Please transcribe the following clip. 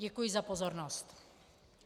Děkuji za pozornost.